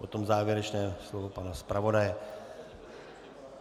Potom závěrečné slovo pana zpravodaje.